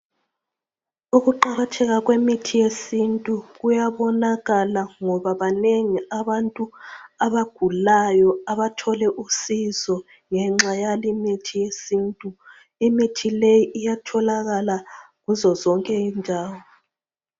Ukuqakatheka kwemithi yesintu kuyabonakala ngoba banengi abantu abagulayo abathole usizo ngenxa yale imithi yesintu. Imithi le iyatholakala kuzo zonke indawo.